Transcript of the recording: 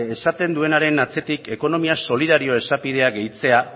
esaten duenaren atzetik ekonomia solidarioa esapideak gehitzea